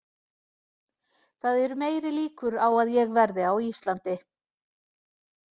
Það eru meiri líkur á að ég verði á Íslandi.